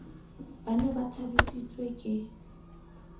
ba ne ba thabisitswe ke